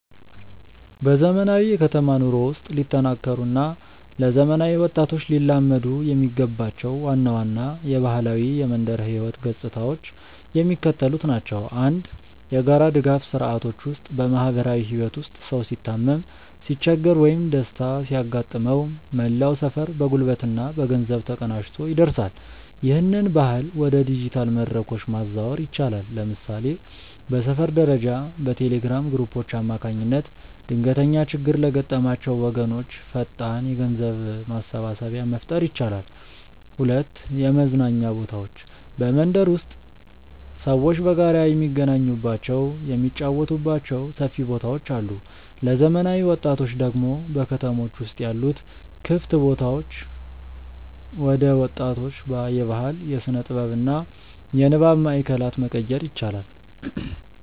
በዘመናዊው የከተማ ኑሮ ውስጥ ሊጠናከሩ እና ለዘመናዊ ወጣቶች ሊላመዱ የሚገባቸው ዋና ዋና የባህላዊ የመንደር ህይወት ገጽታዎች የሚከተሉት ናቸው፦ 1. የጋራ ድጋፍ ስርዓቶች ውስጥ በማህበራዊ ህይወት ውስጥ ሰው ሲታመም፣ ሲቸገር ወይም ደስታ ሲያጋጥመው መላው ሰፈር በጉልበትና በገንዘብ ተቀናጅቶ ይደርሳል። ይህንን ባህል ወደ ዲጂታል መድረኮች ማዛወር ይቻላል። ለምሳሌ በሰፈር ደረጃ በቴሌግራም ግሩፖች አማካኝነት ድንገተኛ ችግር ለገጠማቸው ወገኖች ፈጣን የገንዘብ ማሰባሰቢያ መፍጠር ይቻላል። 2. የመዝናኛ ቦታዎች በመንደር ውስጥ ሰዎች በጋራ የሚገናኙባቸው፣ የሚጫወቱባቸው ሰፊ ቦታዎች አሉ። ለዘመናዊ ወጣቶች ደግሞ በከተሞች ውስጥ ያሉ ክፍት ቦታዎችን ወደ ወጣቶች የባህል፣ የስነ-ጥበብ እና የንባብ ማእከላት መቀየር ይቻላል።